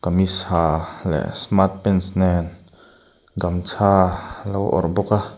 kamis ha leh smart pants nen gamcha alo awrh bawk a.